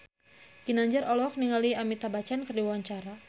Ginanjar olohok ningali Amitabh Bachchan keur diwawancara